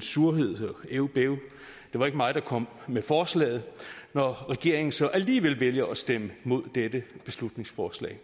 surhed og æv bæv det var ikke mig der kom med forslaget når regeringen så alligevel vælger at stemme imod dette beslutningsforslag